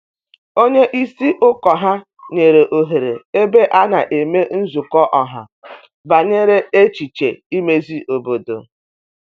Onye isi ụkọ ya nyere ohere ebe a na emee nzukọ ọha banyere echiche imezi obodo.